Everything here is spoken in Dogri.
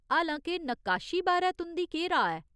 हालां के नक्काशी बारै तुं'दी केह् राऽ ऐ ?